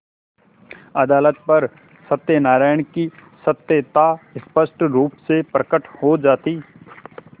अदालत पर सत्यनारायण की सत्यता स्पष्ट रुप से प्रकट हो जाती